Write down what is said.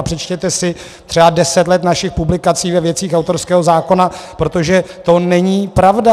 A přečtěte si třeba deset let našich publikací ve věcech autorského zákona, protože to není pravda.